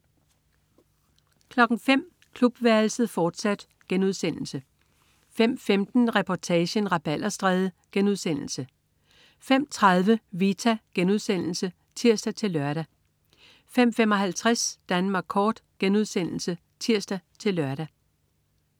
05.00 Klubværelset, fortsat* 05.15 Reportagen: Rabalderstræde* 05.30 Vita* (tirs-lør) 05.55 Danmark Kort* (tirs-lør)